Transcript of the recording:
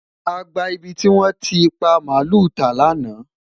àgbà ibí ti wọn ti pa maalu ta laana